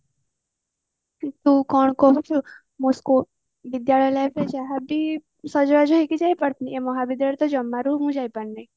ତୁ କଣ କରିଛୁ ମୋ school ବିଦ୍ୟାଳୟ life ରେ ଯାହାବି ସଜବାଜ ହେଇକି ଯାଏ but ମହାବିଦ୍ୟାଳୟରେ ତ ଜମାରୁ ବି ମୁଁ ଯାଇ ପାରେନି